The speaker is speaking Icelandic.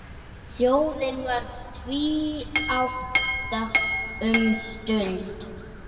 Þjóðin varð tvíátta um stund.